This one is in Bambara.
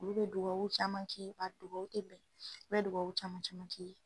Olu be dugawa caman k'i ye, a dugawu te bɛn u bɛ dugawa caman caman k'i ye.